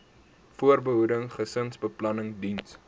voorbehoeding gesinsbeplanning diens